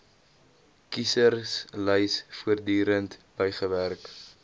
kieserslys voortdurend bygewerk